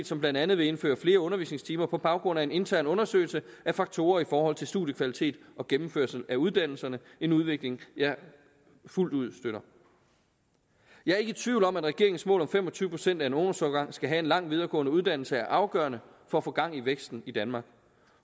som blandt andet vil indføre flere undervisningstimer på baggrund af en intern undersøgelse af faktorer i forhold til studiekvalitet og gennemførelse af uddannelserne en udvikling jeg fuldt ud støtter jeg er ikke i tvivl om at regeringens mål om at fem og tyve procent af en ungdomsårgang skal have en lang videregående uddannelse er afgørende for at få gang i væksten i danmark